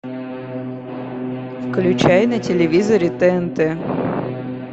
включай на телевизоре тнт